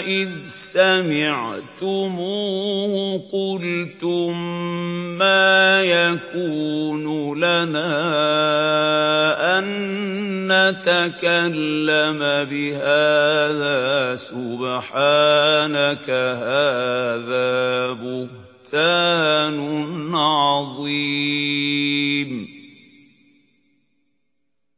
إِذْ سَمِعْتُمُوهُ قُلْتُم مَّا يَكُونُ لَنَا أَن نَّتَكَلَّمَ بِهَٰذَا سُبْحَانَكَ هَٰذَا بُهْتَانٌ عَظِيمٌ